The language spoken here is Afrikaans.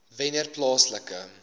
wennerplaaslike